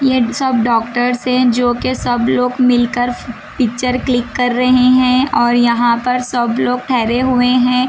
ये सब डॉक्टर्स हैं जो के सब लोग मिलकर पिक्चर क्लिक कर रहे हैं और यहाँ पर सब लोग ठहरे हुए हैं।